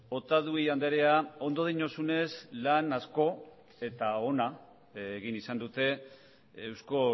otadui andrea ondo diozunez lan asko eta ona egin izan dute eusko